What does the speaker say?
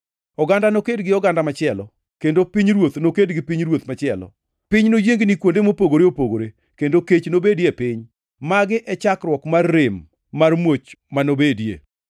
Oganda noked gi oganda machielo, kendo pinyruoth noked gi pinyruoth machielo. Piny noyiengni kuonde mopogore opogore kendo kech nobedi e piny. Magi e chakruok mar rem mar muoch ma nobedie.